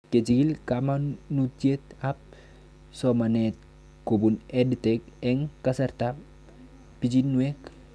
Kechig'il kamanutiet ab somanet kopun Ed Tech eng' kasarta ab pichinwek